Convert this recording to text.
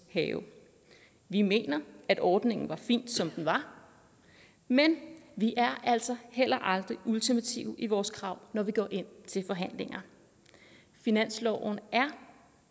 have vi mener at ordningen var fin som den var men vi er altså heller aldrig ultimative i vores krav når vi går ind til forhandlinger finansloven er